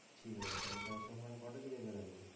ঠিক আছে চল তাহলে সোমবার কটা দিকে বেরোবে?